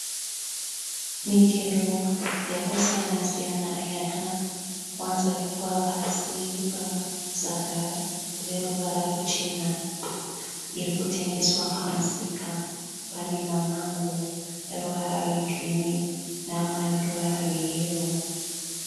Michero yakasiyana-siyana yakawanzarikwa pasi pamasaga eruva ruchena irikutengeswa pamusika. Pane mamango eruvara rwegirini neamwe eruvara rweyero.